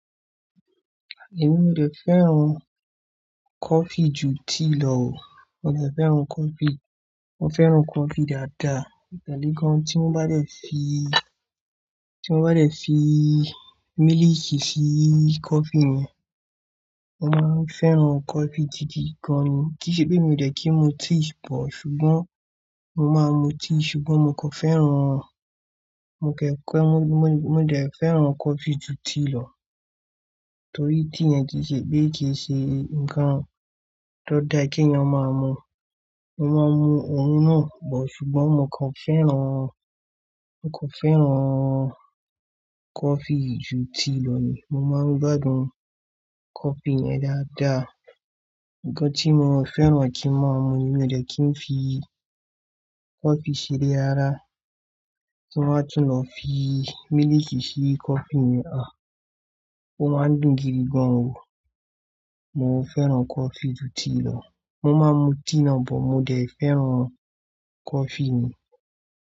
Èmi, mi ò de fẹ́ràn coffee ju tea lọ o. Mo ò de fẹ́ràn coffee. Mo fẹ́ràn coffee dáadáa. Ìtẹ́lẹ̀ kan tí mo bá dẹ̀ fi, tí mo bá dẹ̀ fi mílìkì sí coffee mi, mo máa fẹ́ràn coffee gidi gan ni. Kí ìṣe pé mi ò dẹ̀ kí n mu tea bọ̀, ṣùgbọ́n mo máa mu tea ṣùgbọ́n mo kò fẹ́ràn, mo kẹ̀ fẹ́, mo, mo, mo dẹ̀ fẹ́ràn coffee ju tea lọ. Torí tea yẹn kì í ṣe pé kì í ṣe nǹkan tó dára kí ènìyàn máa mu. Mo máa ń mu òun náà bọ̀ ṣùgbọ́n mo kò fẹ́ràn, mo kò fẹ́ràn coffee ju tea lọ ni. Mo máa ń gbádùn coffee yẹn dáadáa. Ǹkan tí mo ò fẹ́ràn kí n máa mu ni mi ò dẹ̀ kí n fi coffee ṣeré ara. Tí wọ́n bá tún lọ fi mílìkì sí coffee mi, àh! Ó máa n dùn gidi gan o. Mo feran coffee ju tea lo. Mo máa mu tea náà bọ̀, mo dẹ̀ fẹ́ràn coffee ni.